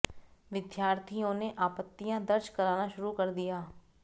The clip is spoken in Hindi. विद्यार्थियों ने आपत्तियां दर्ज कराना शुरू कर दिया